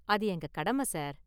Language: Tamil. அது எங்க​ கடமை, சார்!